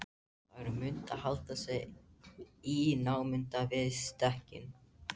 Þær mundu halda sig í námunda við stekkinn.